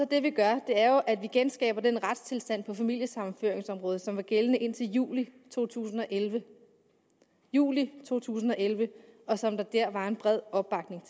det vi gør at vi genskaber den retstilstand på familiesammenføringsområdet som var gældende indtil juli to tusind og elleve juli to tusind og elleve og som der var en bred opbakning